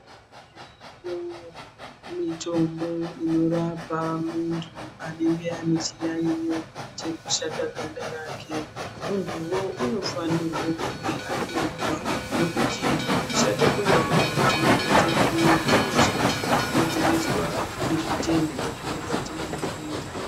Kune mitombo inorapa muntu anenge ane chiyaiyo chekushata ganda rake muntuwo unofana kunge atovuwa ngekuti kushata kweganda dzimweni dzenguwa kunokomzerwswa nezvitenda zvemukati memuviri.